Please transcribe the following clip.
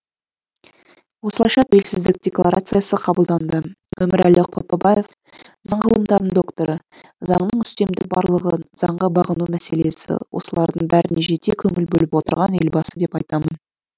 осылайша тәуелсіздік декларациясы қабылданды өмірәлі қопабаев заң ғылымдарының докторы заңның үстемдігі барлығы заңға бағыну мәселесі осылардың бәріне жете көңіл бөліп отырған елбасы деп айтамын